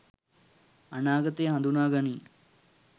අනාගතය හඳුනා ගනී.